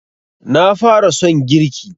Na fara son girki